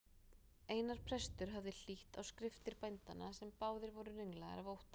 Einar prestur hafði hlýtt á skriftir bændanna sem báðir voru ringlaðir af ótta.